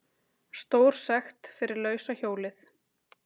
Stórsekt fyrir lausa hjólið